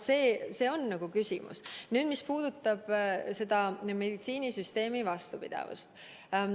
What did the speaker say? Nüüd, meditsiinisüsteemi vastupidavusest.